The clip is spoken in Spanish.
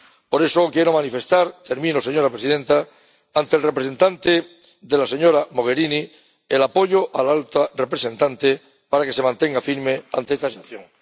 Por eso, quiero manifestar —termino, señora presidenta— ante el representante de la señora Mogherini el apoyo a la alta representante para que se mantenga firme ante esta sanción.